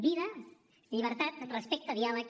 vida llibertat respecte diàleg